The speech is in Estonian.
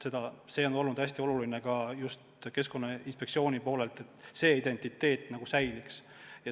See on just Keskkonnainspektsioonile oluline olnud, et see identiteedi sümbol säiliks.